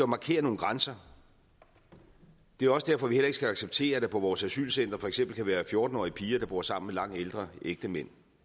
markere nogle grænser det er også derfor vi heller ikke skal acceptere at der på vores asylcentre for eksempel kan være fjorten årige piger der bor sammen med langt ældre ægtemænd